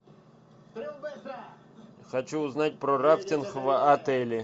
хочу узнать про рафтинг в отеле